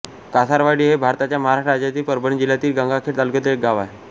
कासारवाडी हे भारताच्या महाराष्ट्र राज्यातील परभणी जिल्ह्यातील गंगाखेड तालुक्यातील एक गाव आहे